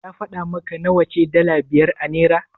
Ya faɗa maka nawa ce dala biyar a Naira?